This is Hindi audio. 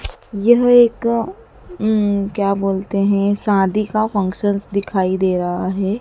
यह एक अं क्या बोलते हैं शादी का फंक्शन दिखाई दे रहा है।